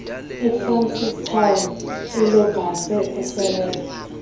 efrancistown elobatse eselebi